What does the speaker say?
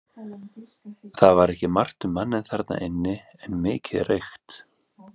Það var ekki margt um manninn þarna inni en mikið reykt.